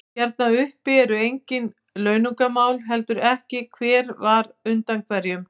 Hérna uppi eru engin launungarmál, heldur ekki hver var undan hverjum.